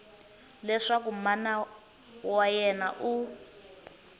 leswaku mana wa yena u